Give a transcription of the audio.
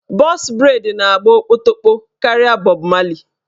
Bọx breid na-agba okpotokpo karịa bọb marli